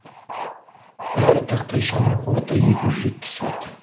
әр тақтайшаның қуаты екі жүз жетпіс ватт